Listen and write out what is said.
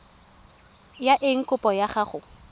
ya eng kopo ya gago